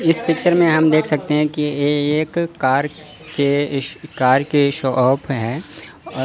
इस पिक्चर में हम देख सकते हैं कि ये एक कार के कार के शॉप हैं और--